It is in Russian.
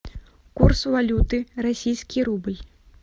курс валюты российский рубль